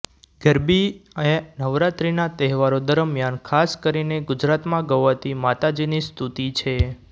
ગરબી એ નવરાત્રીના તહેવારો દરમીયાન ખાસ કરીને ગુજરાતમાં ગવાતી માતાજીની સ્તુતિ છે